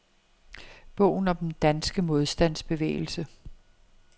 Bogen om den danske modstandsbevægelse.